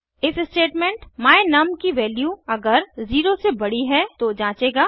if statement my num की value अगर 0 से बड़ी है तो जंचेगा